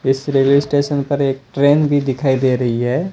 इस railway station पर एक ट्रेन भी दिखाई दे रही है।